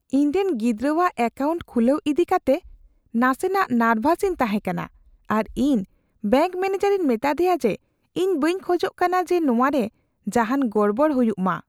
ᱤᱧ ᱨᱮᱱ ᱜᱤᱫᱽᱨᱟᱹᱼᱟᱜ ᱮᱠᱟᱣᱩᱱᱴ ᱠᱷᱩᱞᱟᱹᱣ ᱤᱫᱤ ᱠᱟᱛᱮᱜ ᱱᱟᱥᱮ ᱱᱟᱜ ᱱᱟᱨᱵᱷᱟᱥ ᱤᱧ ᱛᱟᱦᱮᱸ ᱠᱟᱱᱟ ᱟᱨ ᱤᱧ ᱵᱮᱝᱠ ᱢᱮᱱᱮᱡᱟᱨᱤᱧ ᱢᱮᱛᱟᱫᱮᱭᱟ ᱡᱮ ᱤᱧ ᱵᱟᱹᱧ ᱠᱷᱚᱡᱚᱜ ᱠᱟᱱᱟ ᱡᱮ ᱱᱚᱣᱟᱨᱮ ᱡᱟᱦᱟᱱ ᱜᱚᱲᱵᱚᱲ ᱦᱩᱭᱩᱜᱼᱢᱟ ᱾